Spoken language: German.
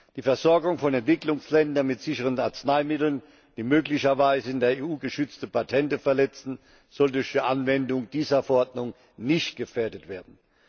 Die Versorgung von Entwicklungsländern mit sicheren Arzneimitteln, die möglicherweise in der EU geschützte Patente verletzen, soll durch die Anwendung dieser Verordnung nicht gefährdet werden.